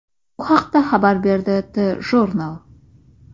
Bu haqda xabar berdi TJournal.